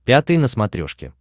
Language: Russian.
пятый на смотрешке